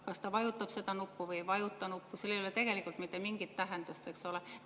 Kas ta vajutab seda nuppu või ei vajuta, sellel ei ole tegelikult mitte mingit tähendust, eks ole.